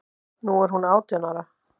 Nú er hún átján ára.